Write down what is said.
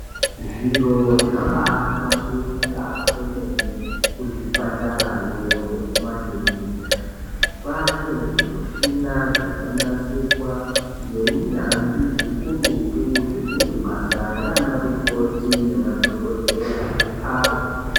Zviro zvabaahlamburika kwemene kuzvipatarayo nekumakirinika, kwaane zvimushina zvakanasirwa ngeunyanzvi ukurutu, zvekuti basa raana mukoti nemadhokodheya ripfawe.